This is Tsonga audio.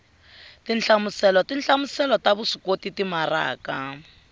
tinhlamuselo tinhlamuselo ta vuswikoti timaraka